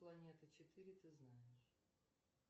планета четыре ты знаешь